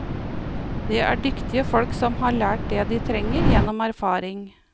Det er dyktige folk som har lært det de trenger gjennom erfaring.